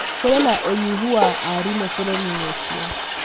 Kũrĩ na ũnyihu wa arimũ bũrũrinĩ ũcio.